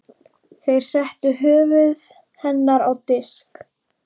Þeir settu höfuð hennar á disk.